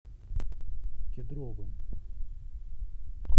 кедровым